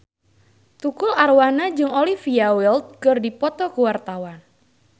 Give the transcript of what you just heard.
Tukul Arwana jeung Olivia Wilde keur dipoto ku wartawan